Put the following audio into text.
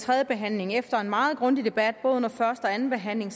tredjebehandlingen efter en meget grundig debat under både første og anden behandling